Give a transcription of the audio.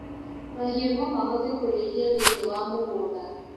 Mahiũ nomahote kũrĩithio thĩinī wa mũgũnda